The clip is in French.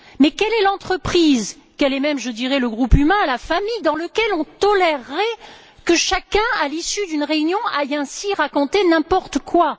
Quelle est l'entreprise, quel est même le groupe humain, la famille, dans laquelle on tolérerait que chacun, à l'issue d'une réunion, aille ainsi raconter n'importe quoi.